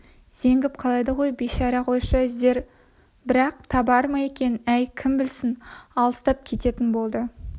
зеңгіп қалады ғой бейшара қойшы іздер бірақ табар ма екен әй кім білсін алыстап кететін болды